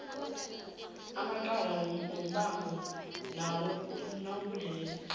amacala wombango nawobulelesi